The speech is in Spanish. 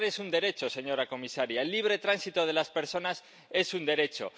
Migrar es un derecho, señora comisaria, el libre tránsito de las personas es un derecho